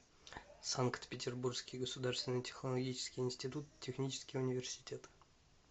санкт петербургский государственный технологический институт технический университет